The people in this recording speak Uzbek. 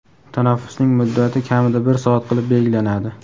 tanaffusning muddati kamida bir soat qilib belgilanadi.